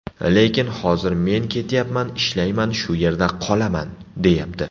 Lekin hozir ‘men ketmayman, ishlayman, shu yerda qolaman’, deyapti.